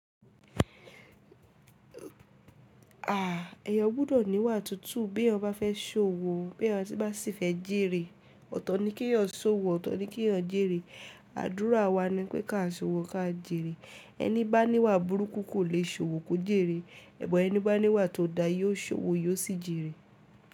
Ah! Ẹyan gbọ́dọ̀ níwà tútù bí eyan bá fẹ́ ṣòwò, bí eyan bá sì fẹ́ jèrè. Ọ̀tọ̀ ni kí ọyọ ṣòwò, ọ̀tọ̀ ni kí ọyọ jèrè. Àdúrà wa nipé ká ṣòwò, ká jèrè. Ẹni bá níwà burúkú kò lè ṣòwò kó jèrè. Bo ẹni bá níwà tó da yóò ṣòwò yóò sì jèrè.